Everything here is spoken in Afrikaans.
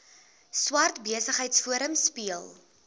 swart besigheidsforum speel